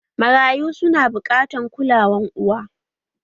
Marayu su na buƙatar kulawan uwa